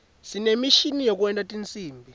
sinemishini yekwenta tinsimbi